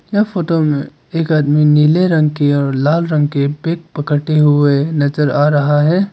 यह फोटो में एक आदमी नीले रंग की और लाल रंग के बैग पकड़ते हुए नजर आ रहा है।